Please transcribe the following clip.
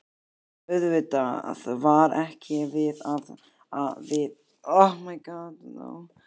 Auðvitað var ekki við þá að sakast.